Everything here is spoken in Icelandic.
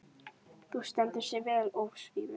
Þú stendur þig vel, Ósvífur!